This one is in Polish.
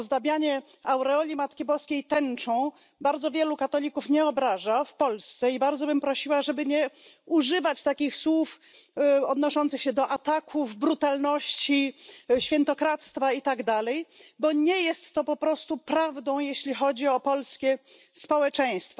Ozdabianie aureoli Matki Boskiej tęczą bardzo wielu katolików nie obraża w Polsce i bardzo bym prosiła, żeby nie używać takich słów odnoszących się do ataków, brutalności, świętokradztwa i tak dalej, bo nie jest to po prostu prawdą, jeśli chodzi o polskie społeczeństwo.